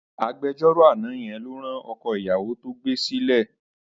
Agbejọ́rò àná yẹn ló rán ọkọ̀ ìyàwó tó gbé sílé lẹ́wọ̀n.